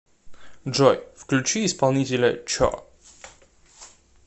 джой включи исполнителя чо